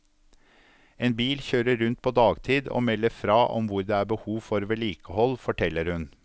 En bil kjører rundt på dagtid og melder fra om hvor det er behov for vedlikehold, forteller hun.